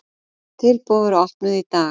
Tilboð voru opnuð í dag.